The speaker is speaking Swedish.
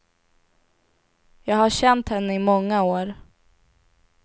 Jag har känt henne i många år.